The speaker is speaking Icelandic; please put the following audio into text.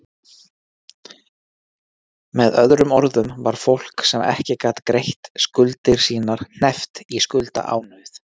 Með öðrum orðum var fólk, sem ekki gat greidd skuldir sínar, hneppt í skuldaánauð.